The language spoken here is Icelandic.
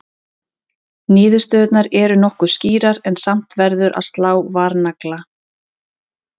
Niðurstöðurnar eru nokkuð skýrar en samt verður að slá varnagla.